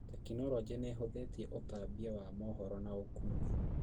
Tekinoronjĩ nĩhũthĩtie ũtambia wa mohoro na ũũkui